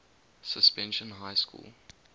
suspension high school